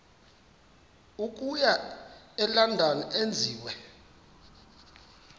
okuya elondon enziwe